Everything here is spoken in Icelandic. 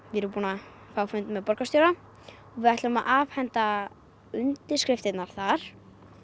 við erum búin að fá fund með borgarstjóra við ætlum að afhenda undirskriftirnar þar